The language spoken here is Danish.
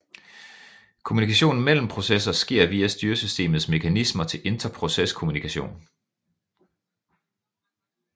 Kommunikation mellem processer sker via styresystemets mekanismer til interproceskommunikation